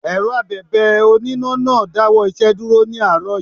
Èrọ Abẹ̀bẹ̀ oníná náà dáwọ́ iṣẹ́ dúró ní àárọ̀ yí.